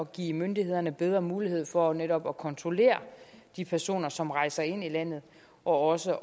give myndighederne bedre mulighed for netop at kontrollere de personer som rejser ind i landet og også